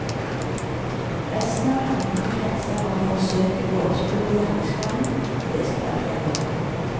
Resten av handlingen kretser om forsøket på å oppspore gjerningsmannen, og det skal ta flere år.